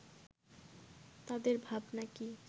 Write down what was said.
তাদের ভাবনা কি